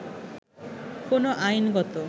কোন আইনগত